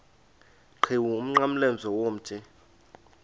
qhiwu umnqamlezo womthi